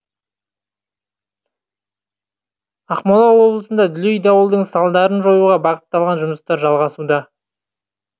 ақмола облысында дүлей дауылдың салдарын жоюға бағытталған жұмыстар жалғасуда